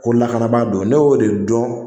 Ko lakanabaa don ne y'o de dɔn